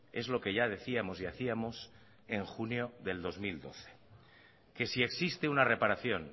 es lo que ya decíamos y hacíamos en junio de dos mil doce que si existe una reparación